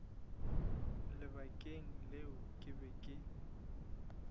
lebakeng leo ke be ke